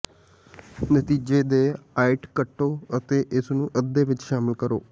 ਨਤੀਜੇ ਦੇ ਆਇਤ ਕੱਟੋ ਅਤੇ ਇਸ ਨੂੰ ਅੱਧੇ ਵਿੱਚ ਸ਼ਾਮਿਲ ਕਰੋ